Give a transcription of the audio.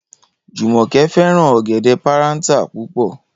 Jùmò̩ké̩ fé̩ràn ò̩gè̩dé̩ páráǹtà púpò̩